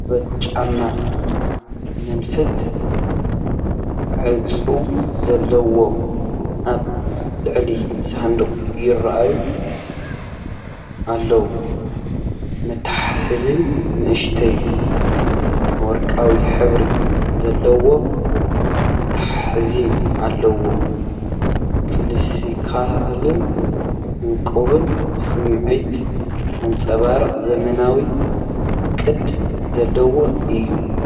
ቆርበት ጫማ፡ መንፊት ዕጹው ዘለዎም ኣብ ልዕሊ ሳንዱቕ ይረአዩ ኣለዉ። መትሓዚን ንእሽቶ ወርቃዊ ሕብሪ ዘለዎ መትሓዚን ኣለዎም። ክላሲካልን ውቁብን ስምዒት ዘንፀባርቕ ዘመናዊ ቅዲ ዘለዎ እዩ፡፡